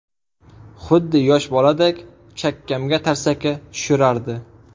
Xuddi yosh boladek chakkamga tarsaki tushirardi.